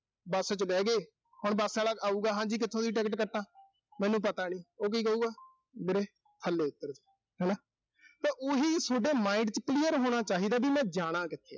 bus ਚ ਬਹਿਗੇ, ਹੁਣ bus ਆਲਾ ਆਊਗਾ, ਵੀ ਹਾਂਜੀ ਕਿੱਥੋਂ ਦੀ ticket ਕੱਟਾਂ। ਮੈਨੂੰ ਪਤਾ ਨੀਂ। ਉਹ ਕੀ ਕਹੂਗਾ, ਵੀਰੇ ਥੱਲੇ ਉਤਰ। ਹਨਾ। ਤਾਂ ਉਹੀ ਸੋਡੇ mind ਚ clear ਹੋਣਾ ਚਾਹੀਦਾ ਵੀ ਮੈਂ ਜਾਣਾ ਕਿਥੇ ਆ।